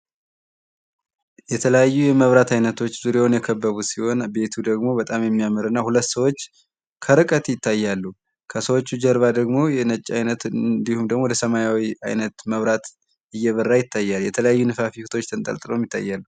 የተለያዩ የመብራት አይነቶች ዙሪያውን የከበቡት ሲሆን ቤቱ ደግሞ በጣም የሚያምርና ሁለት ሰዎች ከርቀት ይታያሉ። ከሰዎቹ ጀርባ ደግሞ የነጭ አይነት እንድሁም ደግሞ የሰማያዊ አይነት መብራት እየበራ ይታያል። የተለያዩ ነፋፊቶች ተንጠልጥለው ይታያሉ።